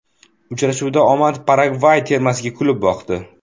Uchrashuvda omad Paragvay termasiga kulib boqdi.